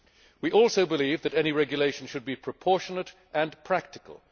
We also believe that any regulation should be proportionate and practical.